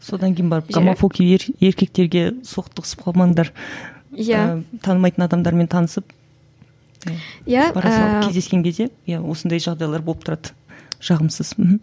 содан кейін барып гомофоб еркектерге соқтығысып қалмаңдар танымайтын адамдармен танысып кездескен кезде иә осындай жағдайлар болып тұрады жағымсыз мхм